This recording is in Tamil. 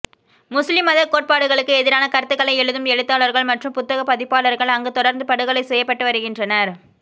முஸ்லிம் மத கோட்பாடுகளுக்கு எதிரான கருத்துக்களை எழுதும் எழுத்தாளர்கள் மற்றும் புத்தக பதிப்பாளர்கள் அங்கு தொடர்ந்து படுகொலை செய்யப்பட்டு வருகின்றனர்